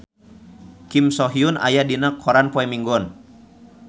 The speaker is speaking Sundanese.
Kim So Hyun aya dina koran poe Minggon